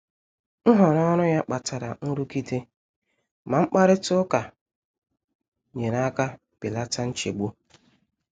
Nhọrọ ọrụ ya kpatara nrụgide, ma mkparịta ụka nyere aka belata nchegbu.